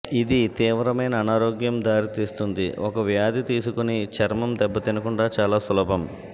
ఇది తీవ్రమైన అనారోగ్యం దారితీస్తుంది ఒక వ్యాధి తీసుకుని చర్మం దెబ్బతినకుండా చాలా సులభం